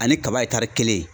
Ani kaba kelen